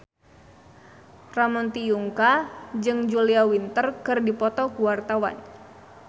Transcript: Ramon T. Yungka jeung Julia Winter keur dipoto ku wartawan